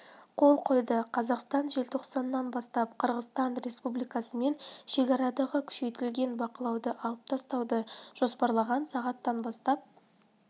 қол қойды қазақстан желтоқсаннан бастап қырғызстан республикасымен шекарадағы күшейтілген бақылауды алып тастауды жоспарлаған сағат бастап